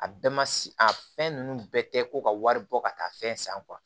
A bɛɛ ma a fɛn nunnu bɛɛ kɛ ko ka wari bɔ ka taa fɛn san